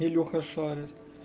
илюха шарит